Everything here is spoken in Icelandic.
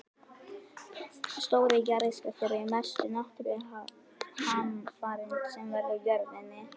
Stórir jarðskjálftar eru mestu náttúruhamfarir sem verða á jörðinni.